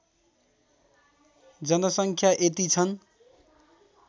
जनसङ्ख्या यति छन्